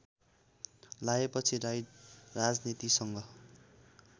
लागेपछि राई राजनीतिसँग